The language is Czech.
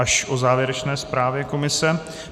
Až o závěrečné zprávě komise.